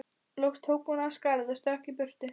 Loks tók hún af skarið og stökk í burtu.